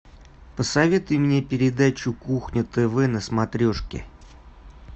посоветуй мне передачу кухня тв на смотрешке